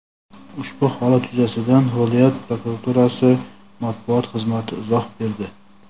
Ushbu holat yuzasidan viloyat prokuraturasi Matbuot xizmati izoh berdi.